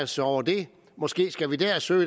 sig over det måske skal vi der søge